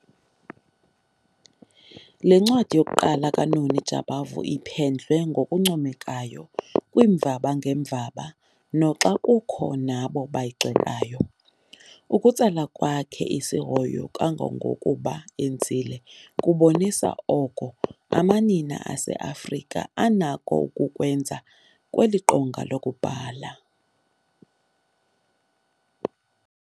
Le ncwadi yokuqala kaNoni Jabavu iphendlwe ngokuncomekayo kwiimvaba ngeemvaba noxa kukho nabo bayigxekayo. Ukutsala kwakhe isihoyo kangangokuba enzile kubonisa oko amanina aseAfrika anakho ukukwenza kweli qonga lokubhala.